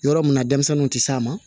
Yɔrɔ mun na denmisɛnninw tɛ s'a ma